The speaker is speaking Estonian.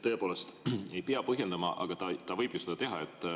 Tõepoolest ei pea põhjendama, aga ta võib ju seda teha.